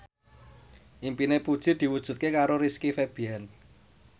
impine Puji diwujudke karo Rizky Febian